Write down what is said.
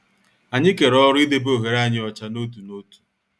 Anyị kere ọrụ idebe ohere anyị ọcha n'otu n'otu.